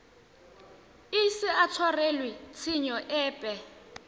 ise a tshwarelwe tshenyo epe